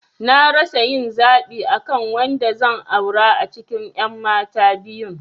Na rasa yin zaɓi akan wanda zan aura a cikin ƴan mata biyun